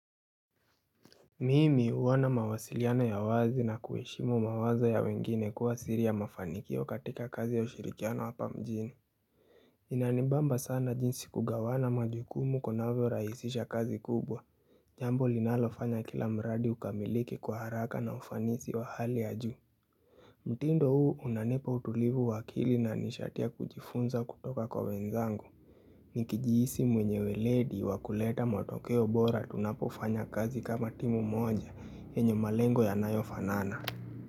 Mimi huwa na mawasiliano ya wazi na kuheshimu mawazo ya wengine kuwa siri ya mafanikio katika kazi ya ushirikiano wapa mjini. Inanibamba sana jinsi kugawana majukumu kunavyo rahisisha kazi kubwa. Jambo linalofanya kila mradi ukamiliki kwa haraka na ufanisi wa hali ya juu. Mtindo huu unanipa utulivu wa akili na ni sharti kujifunza kutoka kwa wenzangu. Nikijihisi mwenye weledi wakuleta matokeo bora tunapofanya kazi kama timu moja yenye malengo yanayofanana.